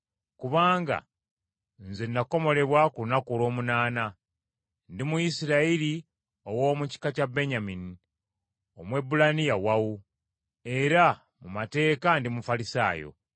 Kubanga nze nakomolebwa ku lunaku olw’omunaana. Ndi Muyisirayiri, ow’omu kika kya Benyamini, Omwebbulaniya wawu, era mu mateeka ndi Mufalisaayo,